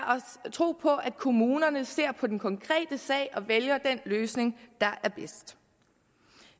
tro på at kommunerne ser på den konkrete sag og vælger den løsning der er bedst